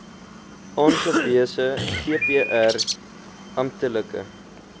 aangewese vpr amptelike